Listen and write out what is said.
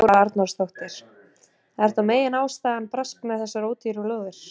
Þóra Arnórsdóttir: Er þá meginástæðan brask með þessar ódýru lóðir?